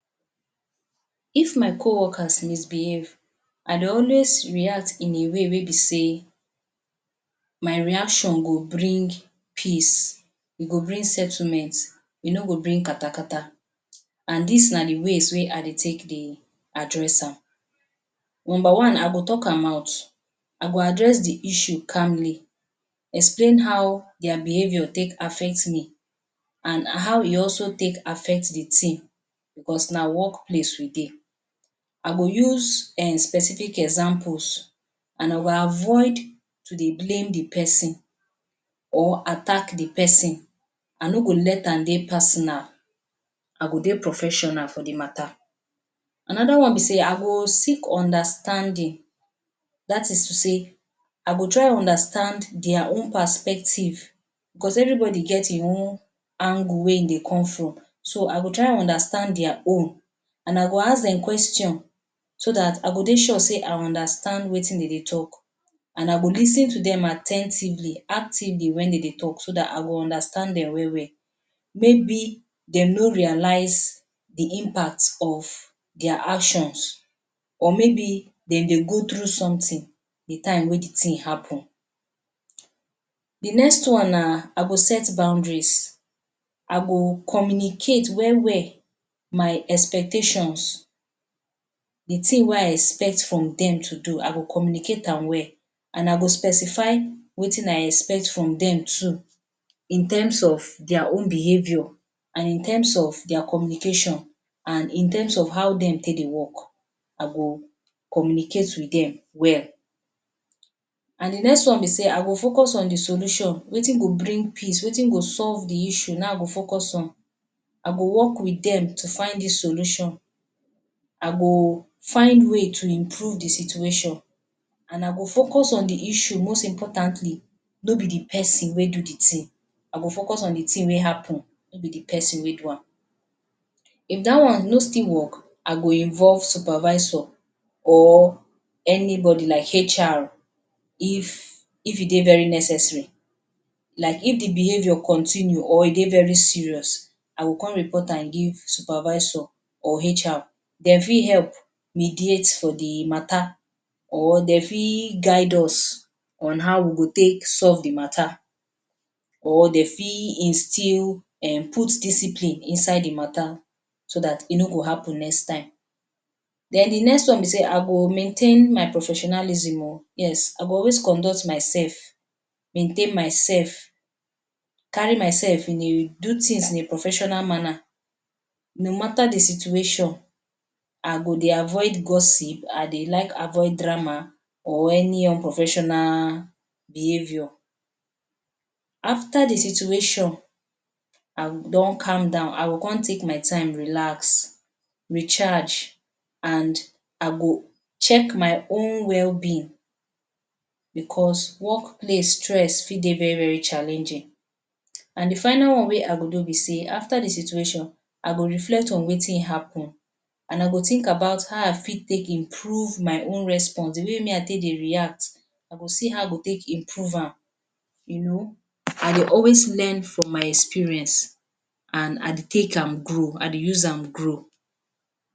If my coworkers misbehave, I dey always react in a way wey be sey my reaction go bring peace, e go bring settlement, e no go bring katakata and dis na de ways wey I dey take dey address am. Number one, I go talk am out, I go address de issue calmly, explain how their behaviour take affect me and how e also take affect de team cause na workplace we dey. I go use specific examples and I go avoid to dey blame de person or attack de person, I no go let am dey personal, I go dey professional for de matter. Another one be sey I go seek understanding, dat is to say I go try understand their own perspective cause everybody get im own angle wey e dey come from so I go try understand their own and I go ask dem question so dat I go dey sure sey I understand wetin dem dey talk and I go lis ten to dem at ten tively, actively wen dem dey talk so dat I go understand dem well well. Maybe dem no realise de impact of their actions or maybe dem dey go through something de time wey de thing happen. De next one na I go set boundaries, I go communicate well well my expectations, de thing wey I expect from dem to do I go communicate am well and I go specify wetin I expect from dem too, in terms of their own behaviour and in terms of their communication and in terms of how dem take dey work, I go communicate wit dem well. And de next one be sey, I go focus on de solution, wetin go bring peace wetin go solve de issue na im I go focus on, I go work wit dem to find dis solution. I go find way to improve de situation and I go focus on de issue most importantly no be de person wey do de thing, I go focus on de thing wey happen no be de person wey do am. If dat one no still work, I go involve supervisor or anybody like HR if if e dey very necessary like if de behaviour continue or e dey very serious I go come report am give supervisor or HR. Dem fit help mediate for de matter or dey fit guide us on how we go take solve de matter or dem fit instill um put discipline inside de matter so dat e no go happen next time. Den de next one be sey I go maintain my professionalism oo, yes I go always conduct mysef, maintain mysef, carry mysef in a, do things in professional manner no matter de situation I go avoid gossip, I dey like avoid drama or any unprofessional behaviour. After de situation, I go don calm down I go come take my time relax, recharge and I go check my whole well-being because work place stress fit dey very very challenging. And de final one wey I go do be sey, after de situation I go reflect on wetin happen and I go think about how I fit take improve my own response de way me I take dey react, I go see how I go take improve am you know. I dey always learn from my experience and I dey take am grow, I dey use am grow.